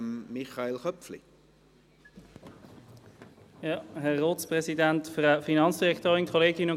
Ich erteile das Wort zuerst Michael Köpfli für die glp.